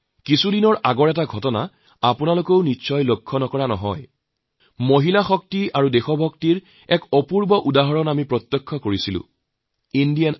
কিছুদিন আগৰ ঘটনা হয়তু আপোনালোকৰো দৃষ্টি আকৰ্ষিত হৈছে নাৰীশক্তি আৰ দেশপ্ৰেমৰ এক অনবদ্য উদাহৰণ দেশবাসীয়ে দেখিলে